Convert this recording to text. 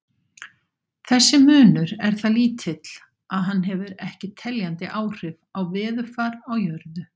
Þessi munur er það lítill að hann hefur ekki teljandi áhrif á veðurfar á jörðu.